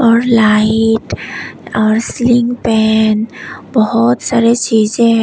और लाइट और ceiling fan बहुत सारे चीजें हैं।